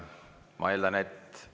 Ma eeldan, et …